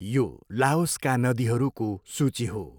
यो लाओसका नदीहरूको सूची हो।